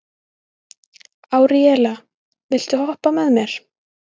Árelía, viltu hoppa með mér?